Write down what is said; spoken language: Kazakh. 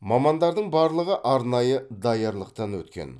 мамандардың барлығы арнайы даярлықтан өткен